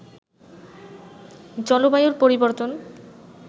জলবায়ুর পরিবর্তন